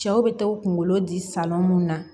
Cɛw bɛ taa u kunkolo di mun na